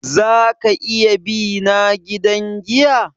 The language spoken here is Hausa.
Za ka iya bina gidan giya?